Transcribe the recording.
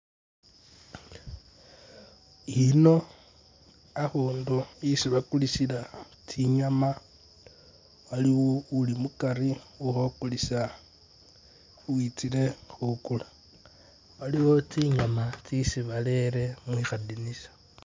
Ino akhakundu yesi bakulisila tsinyama waliwo uli mukari uli khukulisa uwitsile khukula, waliwo tsinyama tsesi barele mukha dinisa.